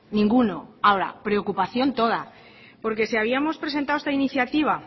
ninguno ahora preocupación toda porque se habíamos presentado esta iniciativa